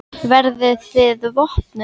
Verðið þið vopnuð?